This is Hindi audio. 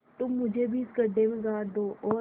तुम मुझे भी इस गड्ढे में गाड़ दो और